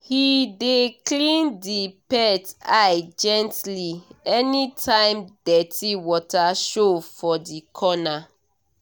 he dey clean the pet eye gently anytime dirty water show for the corner